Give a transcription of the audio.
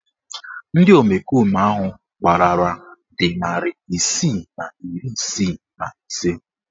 Ndị omekome ahụ gbalara dị narị isii na iri isii na ise